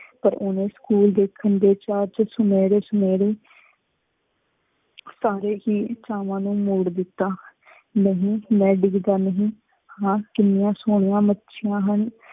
ਪਰ ਉਹਨੇ ਸਕੂਲ ਦੇਖਣ ਦੇ ਚਾਅ ਚ ਸੁਨਹਿਰੇ ਸੁਨਹਿਰੇ ਚਾਹਵਾਂ ਨੂੰ ਮੋੜ ਦਿੱਤਾ। ਨਹੀਂ ਮੈਂ ਡਿੱਗਦਾ ਨਹੀਂ ਹਾਂ, ਕਿੰਨੀਆਂ ਸੋਹਣੀਆਂ ਮੱਛੀਆਂ ਹਨ।